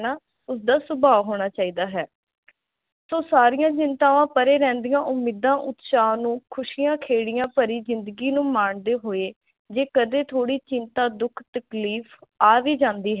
ਇਦਾ ਸੁਭਾ ਹੋਣਾ ਚਾਹੀਦਾ ਹੈ ਤਾਂ ਸਾਰੀਆਂ ਚਿੰਤਾਵਾਂ ਪਰੇ ਰਹਿੰਦੀਆਂ ਉਮੀਦਾਂ ਉਤਸ਼ਾਹ ਨੂੰ ਖੁਸ਼ੀਆਂ ਖੇੜਿਆਂ ਭਾਰੀ ਜਿੰਦਗੀ ਨੂੰ ਮਾਣਦੇ ਹੋਏ ਜੇ ਕਦੇ ਥੋੜੀ ਚਿੰਤਾ ਦੁੱਖ ਤਕਲੀਫ ਆ ਵੀ ਜਾਂਦੀ ਹੈ